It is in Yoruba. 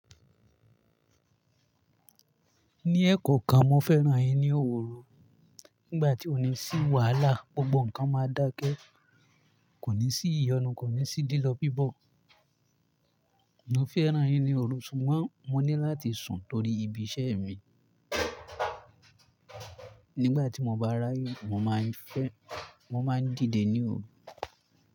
Ní ẹ́ kọ̀ọ̀kan mo fẹ́ràn ẹyin ní òwúrọ̀. Nígbà tí òní sí wàhálà, gbogbo nǹkan máa dákẹ́. Kò ní sí ìyọnu, kò ní sí lílọ bípọ̀. Mo fẹ́ràn ẹyin ní òru ṣùgbọ́n mo ní láti sùn torí ibi iṣẹ́ mi. Nígbà tí mo bá ráyè, mo máa ń fẹ́, mo máa ń dìde ní òru.